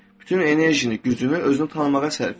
Bütün enerjini, gücünü özünü tanımağa sərf et.